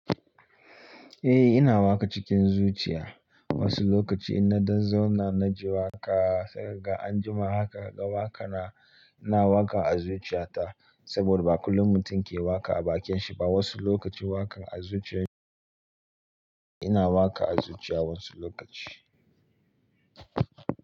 Eh ina waka cikin zuciya, wasu lokaci in na dan zauna na ji waƙa, sai ga anjima haka gaba waka na ina waka a zuciya ta saboda ba kullum mutum ke waka a bakin shi ba. Wasu lokaci waka a zuciya ina waka a zuciya wasu lokaci.